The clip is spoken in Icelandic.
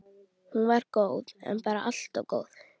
Hún var góð, en bara allt of góð.